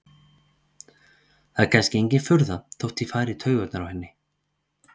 Það er kannski engin furða þótt ég fari í taugarnar á henni.